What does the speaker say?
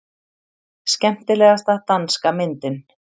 Skemmtilegasta danska myndin